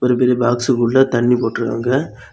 ஒரு பெரிய பாக்ஸுக்குள்ள தண்ணி போட்டுருக்காங்க.